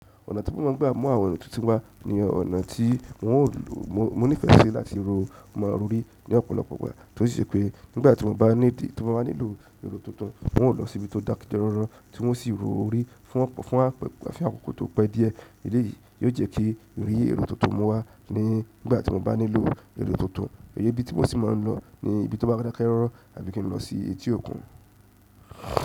Ọ̀nà tí mo máa ń gbà mú àwọn èrò tuntun wá ni ọ̀nà tí n ó ní ìfẹ́ ṣe láti ro máa rí ní ọ̀pọ̀lọpọ̀ pápá, torísẹ pé nígbà tí mo bá nílò èrò tuntun, n ó lọ sí ibi tó dákẹ́jọrọ́ rọrùn tí wọ́n sì ro orí fún àfikún tó pẹ́ díẹ̀. Èdè yìí yóò jẹ́ kí èrè èrò tuntun mú wá nígbà tí mo bá nílò èrò tuntun. Èyí ibi tí mo sì máa ń lọ ni ibi tó bá dákẹ́ rọrùn àbí kí n lọ sí etí òkun.